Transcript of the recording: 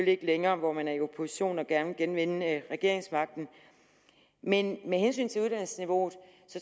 ikke længere når man er i opposition og gerne vil genvinde regeringsmagten men med hensyn til uddannelsesniveauet